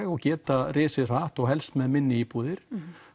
og geta risið hratt og helst með minni íbúðir